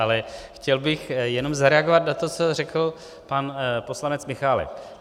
Ale chtěl bych jenom zareagovat na to, co řekl pan poslanec Michálek.